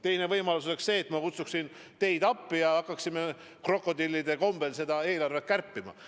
Teine võimalus oleks see, et ma kutsuksin teid appi ja me hakkaksime krokodillide kombel eelarvet kärpima.